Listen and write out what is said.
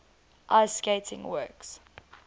ice skating works